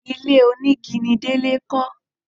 Ilé onígi ni Délé kọ́